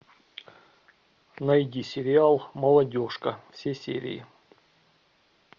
найди сериал молодежка все серии